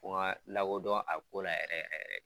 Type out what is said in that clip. Fo u ka lakodɔn a ko la yɛrɛ yɛrɛ yɛrɛ